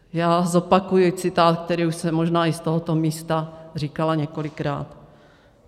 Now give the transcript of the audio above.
Já zopakuji citát, který už jsem možná i z tohoto místa říkala několikrát.